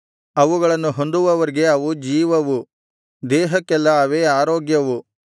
ಅವುಗಳನ್ನು ಹೊಂದುವವರಿಗೆ ಅವು ಜೀವವು ದೇಹಕ್ಕೆಲ್ಲಾ ಅವೇ ಆರೋಗ್ಯವು